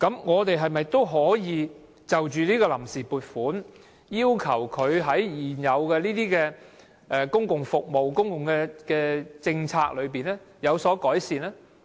我們是否可以透過審議臨時撥款的決議案，要求政府在現有的公共服務和政策上有所改善？